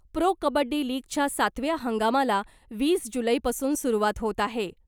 Pro kabaddi लीगच्या सातव्या हंगामाला वीस जुलैपासून सुरुवात होत आहे .